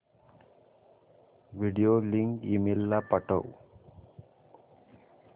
video link email ला पाठव